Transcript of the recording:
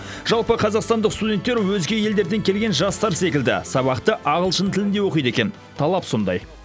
жалпы қазақстандық студенттер өзге елдерден келген жастар секілді сабақты ағылшын тілінде оқиды екен талап сондай